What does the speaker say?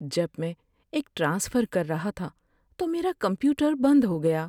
جب میں ایک ٹرانسفر کر رہا تھا تو میرا کمپیوٹر بند ہو گیا۔